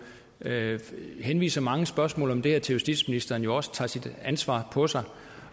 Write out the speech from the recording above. henviser mange spørgsmål om det her til justitsministeren også tager sit ansvar på sig